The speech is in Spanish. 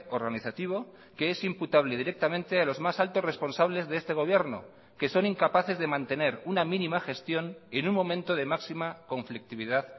organizativo que es imputable directamente a los más altos responsables de este gobierno que son incapaces de mantener una mínima gestión en un momento de máxima conflictividad